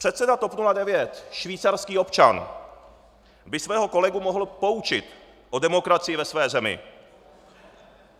Předseda TOP 09, švýcarský občan, by svého kolegu mohl poučit o demokracii ve své zemi.